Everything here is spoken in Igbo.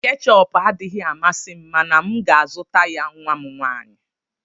Keechup adịghị amasị m mana m ga-azụta ya nwa m nwanyị.